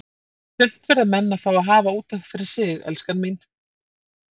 Sumt verða menn að fá að hafa út af fyrir sig, elskan mín.